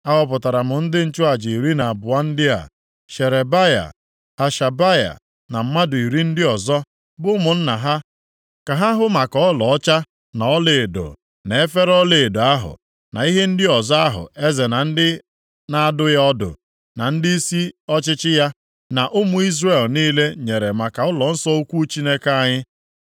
Ahọpụtara m ndị nchụaja iri na abụọ ndị a: Sherebaya, Hashabaya na mmadụ iri ndị ọzọ bụ ụmụnna ha ka ha hụ maka ọlaọcha, na ọlaedo, na efere ọlaedo ahụ, na ihe ndị ọzọ ahụ eze na ndị na-adụ ya ọdụ, na ndịisi ọchịchị ya, na ụmụ Izrel niile nyere maka ụlọnsọ ukwu Chineke anyị.